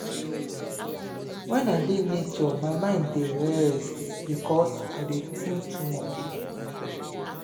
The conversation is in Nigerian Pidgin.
wen i dey nature my mind dey rest because i no dey tink too much.